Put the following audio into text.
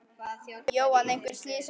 Jóhann: Einhver slys á fólki?